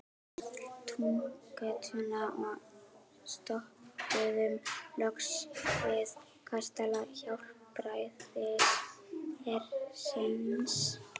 Túngötuna og stoppuðum loks við kastala Hjálpræðishersins.